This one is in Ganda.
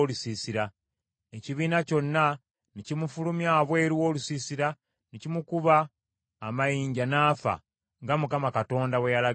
Ekibiina kyonna ne kimufulumya wabweru w’olusiisira ne kimukuba amayinja n’afa, nga Mukama Katonda bwe yalagira Musa.